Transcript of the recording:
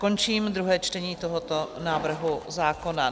Končím druhé čtení tohoto návrhu zákona.